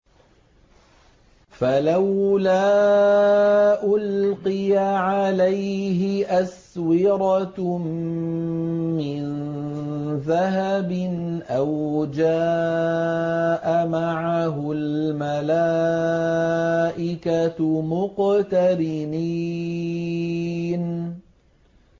فَلَوْلَا أُلْقِيَ عَلَيْهِ أَسْوِرَةٌ مِّن ذَهَبٍ أَوْ جَاءَ مَعَهُ الْمَلَائِكَةُ مُقْتَرِنِينَ